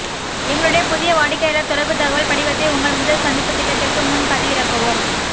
எங்களுடைய புதிய வாடிக்கையாளர் தொடர்புத் தகவல் படிவத்தை உங்கள் முதல் சந்திப்புத் திட்டத்திற்கு முன் பதிவிறக்கவும்